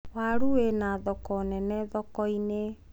waru wina thoko nene thoko-inĩ